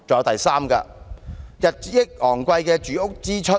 第三，日益昂貴的住屋支出。